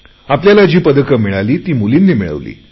आपल्याला जी पदके मिळाली ती मुलींनी मिळवून दिली